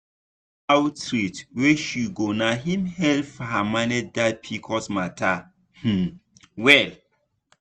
na health outreach wey she go na him help her manage that pcos matter um well.